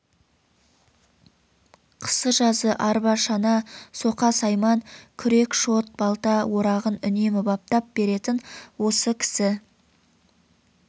қысы-жазы арба-шана соқа-сайман күрек шот балта орағын үнемі баптап беретін осы кісі